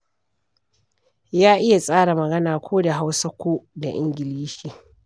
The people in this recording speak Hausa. Ya iya tsara magana, ko da Hausa ko da Ingilishi.